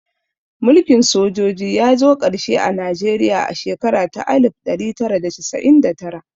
Mulkin sojoji ya zo ƙarshe a Najeriya a shekara ta alif ɗari tara da casa'in da tara